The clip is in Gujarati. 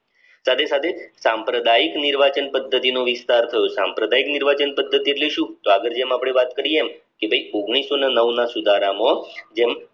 સાથે સાથે સંપ્રદાય નિર્વસન પદ્ધતિ નો વિસ્તાર થયું સંપ્રદાય નિર્વસન પદ્ધતિ એટલે શું તો આગળ જેમ અપડે વાત કરી એમ કે ભાઈ ઓગણીસો ને નવ માં સુધારમાં જેમ